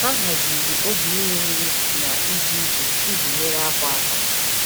Ha haziri oge iri nri na ije ije iji nyere afọ aka.